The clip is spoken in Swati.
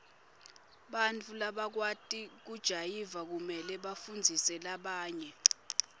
bantfu labakwati kujayiva kumele bafundzise labanye